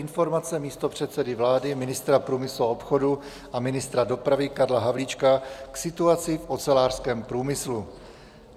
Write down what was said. Informace místopředsedy vlády, ministra průmyslu a obchodu a ministra dopravy Karla Havlíčka k situaci v ocelářském průmyslu